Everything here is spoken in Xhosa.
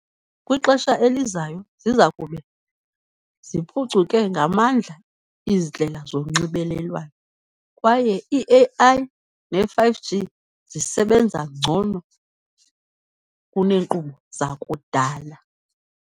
Kwixesha elizayo ziza kube ziphucuke ngamandla iindlela zonxibelelwano, kwaye i-A_I ne-five G zisebenza ngcono kuneenkqubo zakudala.